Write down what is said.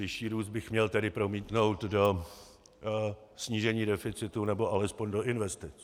Vyšší růst bych měl tedy promítnout do snížení deficitu nebo alespoň do investic.